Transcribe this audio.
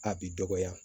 A bi dɔgɔya